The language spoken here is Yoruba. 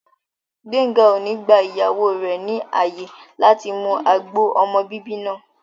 Gbéńga ò ní gba ìyàwó rẹ̀ ní ààyè láti mu agbo ọmọ bíbí náà